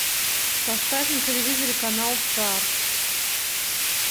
поставь на телевизоре канал старт